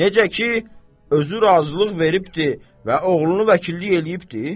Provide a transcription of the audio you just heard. Necə ki, özü razılıq veribdir və oğlunu vəkillik eləyibdir.